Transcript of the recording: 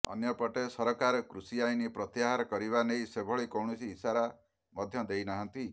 ଅନ୍ୟ ପଟେ ସରକାର କୃଷି ଆଇନ ପ୍ରତ୍ୟାହାର କରିବା ନେଇ ସେଭଳି କୌଣସି ଇସାରା ମଧ୍ୟ ଦେଇନାହାନ୍ତି